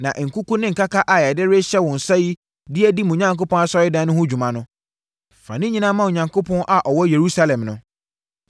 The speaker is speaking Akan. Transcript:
Na nkuku ne nkaka a yɛde rehyɛ wo nsa de adi mo Onyankopɔn asɔredan no ho dwuma no, fa ne nyinaa ma Onyankopɔn a ɔwɔ Yerusalem no.